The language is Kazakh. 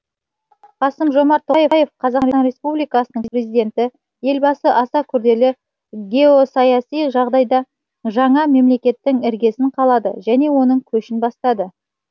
қасым жомарт тоқаев қазақстан республикасының президенті елбасы аса күрделі геосаяси жағдайда жаңа мемлекеттің іргесін қалады және оның көшін бастады